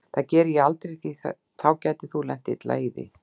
Það geri ég aldrei því þá gætir þú lent illa í því.